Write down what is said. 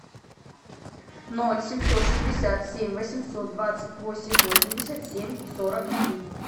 ноль семьсот шестьдесят семь восемьсот двадцать восемь восемьдесят семь сорок три